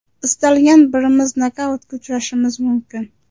Istalgan birimiz nokautga uchrashimiz mumkin.